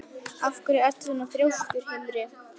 Af hverju ertu svona þrjóskur, Hymir?